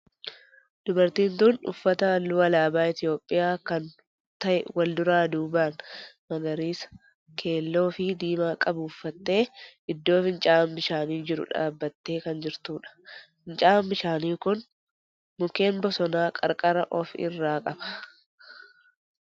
Dubartiin tun uffata halluu alaabaa Itiyoohiyaa kan ta'e wal duraa duuban magariisa, keelloo fi diimaa qabu uffattee iddoo fincaa'aan bishaanii jiru dhaabbattee kan jirtudha. Fincaa'aan bishaanii kun mukkeen bosonaa qarqara of irraa qaba.